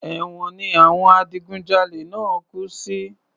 Èwọ̀n ni àwọn adigun jalè náà kú sí